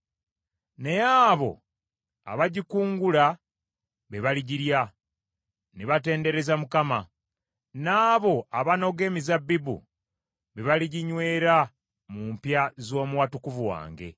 Naye abo abagikungula be baligirya ne batendereza Mukama , n’abo abanoga emizabbibu be baliginywera mu mpya z’omu watukuvu wange.”